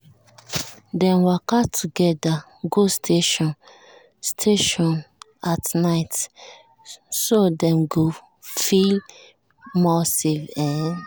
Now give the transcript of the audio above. dem waka together um go station um station um at night so dem go feel more safe.